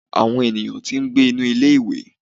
awọn eníyan tí n gbé inú ilé ìwé.